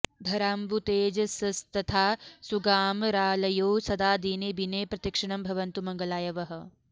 धराम्बुतेजसस्तथा सुगामरालयौ सदा दिने बिने प्रतिक्षणं भवन्तु मङ्गलाय वः